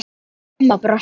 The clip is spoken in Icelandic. Amma brosti.